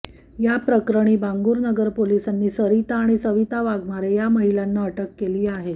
याप्रकरणी बांगूरनगर पोलिसांनी सरिता आणि सविता वाघमारे या महिलांना अटक केली आहे